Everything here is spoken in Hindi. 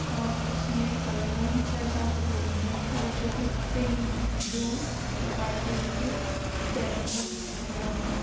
और इसमें करीबन छः - सात फ्लोर हैं और जो कि पिंक ब्लू और व्हाइट कलर के पेंटेड हुआ है।